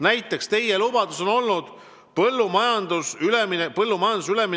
Näiteks on teie lubadus olnud tõsta üleminekutoetusi põllumajanduses.